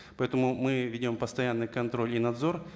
поэтому мы ведем постоянный контроль и надзор